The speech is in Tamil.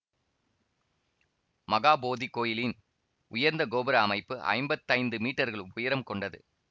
மகாபோதி கோயிலின் உயர்ந்த கோபுர அமைப்பு ஐம்பத்தைந்து மீட்டர்கள் உயரம் கொண்டது